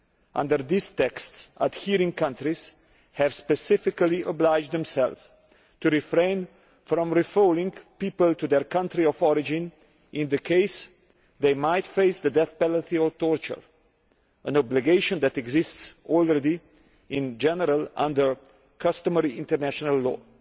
Under these texts, adhering countries have specifically obliged themselves to refrain from returning people to their country of origin in cases where they might face the death penalty or torture, an obligation that already exists in general under customary international law.